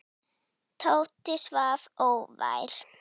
Tóti svaf óvært.